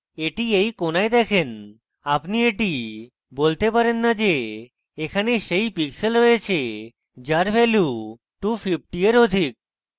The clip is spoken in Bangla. এটি এই কোনায় দেখেন আপনি এটি বলতে পারেন না যে এখানে সেই pixels রয়েছে যার value 250 এর অধিক